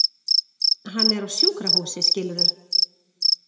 Hann er á sjúkrahúsi skilurðu.